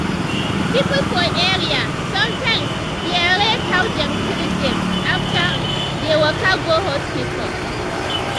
people for area sometimes dey rate how dem treat dem after um dem waka go hospital.